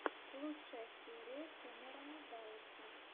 лучшая серия кэмерона далласа